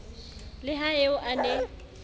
le ha eo a ne